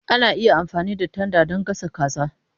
Ana iya amfani da tanda don gasa kaza.